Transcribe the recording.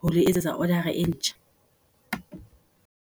ho etsetsa order-a e ntjha.